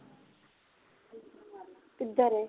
ਕੀ ਕਰ ਰਹੇ